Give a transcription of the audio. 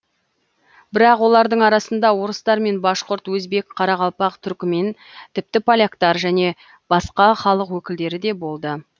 бірақ олардың арасында орыстар мен башқұрт өзбек қарақалпақ түрікмен тіпті поляктар және басқа халық өкілдері де болды